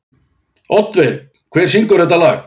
Oddveig, hver syngur þetta lag?